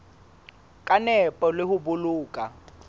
ka nepo le ho boloka